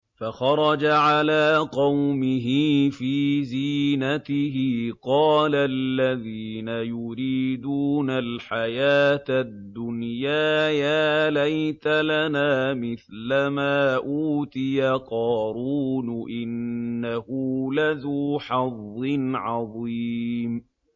فَخَرَجَ عَلَىٰ قَوْمِهِ فِي زِينَتِهِ ۖ قَالَ الَّذِينَ يُرِيدُونَ الْحَيَاةَ الدُّنْيَا يَا لَيْتَ لَنَا مِثْلَ مَا أُوتِيَ قَارُونُ إِنَّهُ لَذُو حَظٍّ عَظِيمٍ